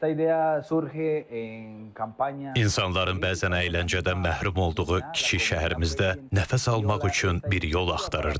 İnsanların bəzən əyləncədən məhrum olduğu kiçik şəhərimizdə nəfəs almaq üçün bir yol axtarırdıq.